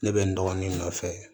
Ne bɛ n dɔgɔnin nɔfɛ